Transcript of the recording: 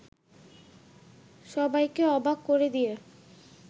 সবাইকে অবাক করে দিয়ে